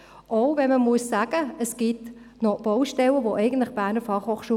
Es gibt nämlich auch Baustellen, für welche die BFH nichts kann.